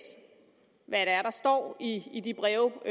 hvad der står i de breve